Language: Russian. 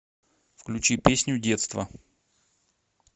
включи песню детство